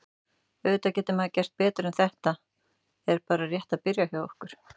Auðvitað getur maður gert betur en þetta er bara rétt að byrja hjá okkur.